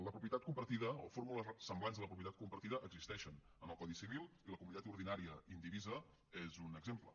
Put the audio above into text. la propietat compartida o fórmules semblants a la propietat compartida existeixen en el codi civil i la comunitat ordinària indivisa és un exemple